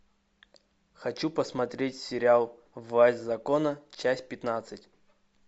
хочу посмотреть сериал власть закона часть пятнадцать